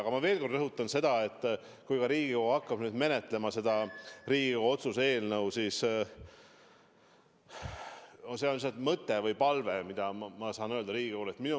Aga ma veel kord rõhutan seda, et kui Riigikogu hakkab menetlema seda Riigikogu otsuse eelnõu, siis mul on lihtsalt üks palve, mis ma tahan öelda Riigikogule.